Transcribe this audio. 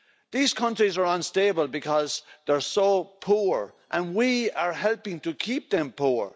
These countries are unstable because they're so poor, and we are helping to keep them poor.